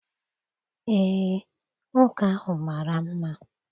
Eé, nwoke ahụ mara mma.